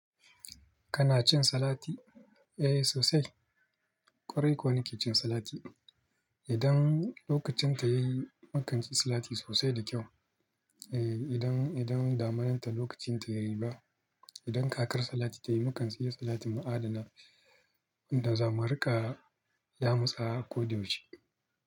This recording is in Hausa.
Kana cin salati? Eh sosai. Kwarai kuwa nake jin salati. Idan lokacin ta yayi, makance salati sosai da kyau. Eh idan, idan damunar ta lokacin ta yayi ba, idan kakar salati ta yi makance iya salatin mu adana da zamurika ya mutsa ƙoda yaushe.